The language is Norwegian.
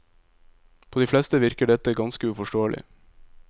På de fleste virker dette ganske uforståelig.